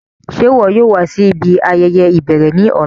Ṣe iwọ yóò wa si ibi ayẹyẹ ibẹrẹ ni ọla?